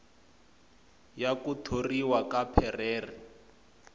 ya ku thoriwa ka perreira